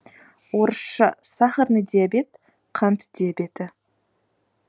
орысша сахарный диабет қант диабеті